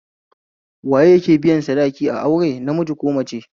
Waye yake biyan sadaki a aure namiji ko mace?